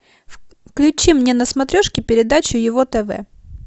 включи мне на смотрешке передачу ево тв